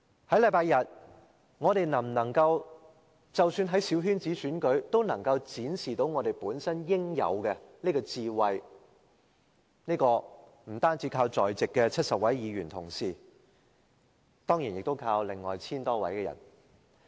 在星期日，我們能否在即使是小圈子選舉中都能展示本身應有的智慧，不單靠在席的70位議員同事，也要靠另外 1,000 多人。